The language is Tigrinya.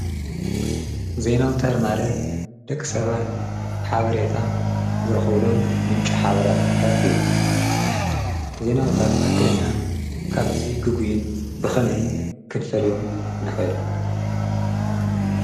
ዘይናውታር ማለት ደቂ ሰባት ሓበሬታ ዝርኽብሎም ምንጭ ሓበርፍታት እዮም ዜይናውታር ተኸክለኛ ካብቲዙ ግጉይን ብኸነይ ክንፈልዮም ንኸል?